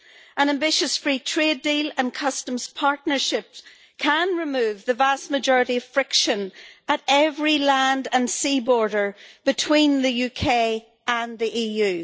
An ambitious free trade deal and customs partnerships can remove the vast majority of friction at every land and sea border between the UK and the EU.